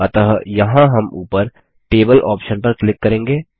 अतः यहाँ हम ऊपर टेबल ऑप्शन पर क्लिक करेंगे